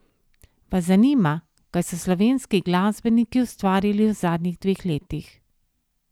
Vas zanima, kaj so slovenski glasbeniki ustvarili v zadnjih dveh letih?